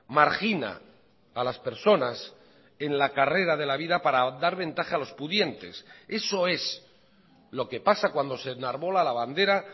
margina a las personas en la carrera de la vida para dar ventaja a los pudientes eso es lo que pasa cuando se enarbola la bandera